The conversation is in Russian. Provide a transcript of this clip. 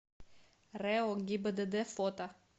рэо гибдд фото